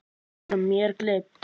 Eru mér gleymd.